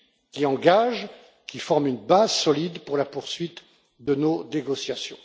qui engagent et forment une base solide pour la poursuite de nos négociations.